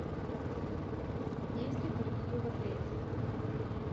есть ли барбекю в отеле